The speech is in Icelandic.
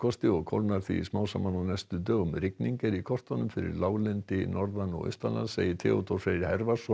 og kólnar því smám saman á næstu dögum rigning er í kortunum fyrir láglendi norðan og segir Theodór Freyr